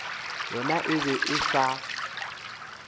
yona e be e sa